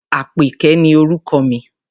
Àpèké ni orúkọ mi.